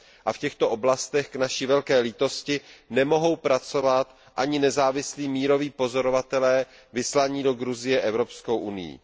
A v těchto oblastech k naší velké lítosti nemohou pracovat ani nezávislí míroví pozorovatelé vyslaní do Gruzie Evropskou unií.